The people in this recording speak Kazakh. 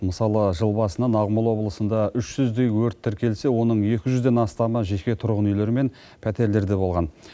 мысалы жыл басынан ақмола облысында үш жүздей өрт тіркелсе оның екі жүзден астамы жеке тұрғын үйлер мен пәтерлерде болған